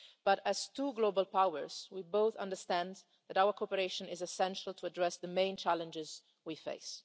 But, as two global powers, we both understand that our cooperation is essential to address the main challenges we face.